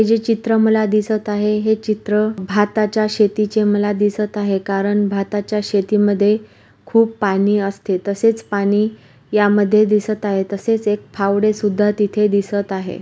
जे चित्र मला दिसत आहे हे चित्र भाताच्या शेतीचे मला दिसत आहे कारण भाताच्या शेती मध्ये खूप पानी असते तसेच पाणी यामध्ये दिसत आहे तसेच एक फावडे सुद्धा दिसत आहे.